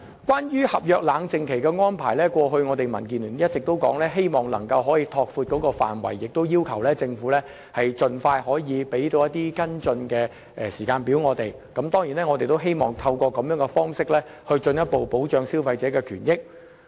關於合約冷靜期的安排，民建聯過去一直希望能夠拓闊有關範圍，要求政府盡快提供跟進時間表。我們希望能透過這種方式，進一步保障消費者的權益。